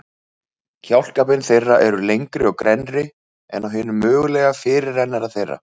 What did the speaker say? Kjálkabein þeirra eru lengri og grennri en á hinum mögulega fyrirrennara þeirra.